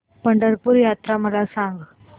पंढरपूर यात्रा मला सांग